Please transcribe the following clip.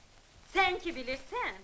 Sən ki bilirsən.